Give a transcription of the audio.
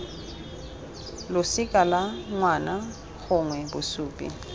losika la ngwana gongwe bosupi